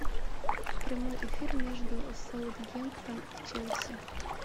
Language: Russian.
прямой эфир между саутгемптон и челси